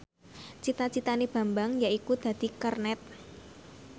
cita citane Bambang yaiku dadi kernet